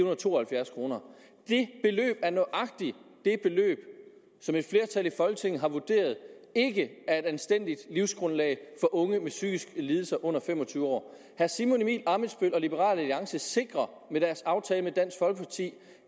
og to og halvfjerds kroner det beløb er nøjagtig det beløb som et flertal i folketinget har vurderet ikke er et anstændigt livsgrundlag for unge med psykiske lidelser under fem og tyve år herre simon emil ammitzbøll og liberal alliance sikrer med deres aftale med dansk folkeparti